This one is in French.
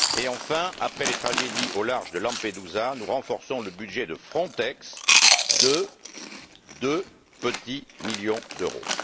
Enfin, après les tragédies au large de Lampedusa, nous renforçons le budget de Frontex de deux petits millions d'euros.